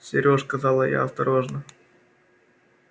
серёж сказала я осторожно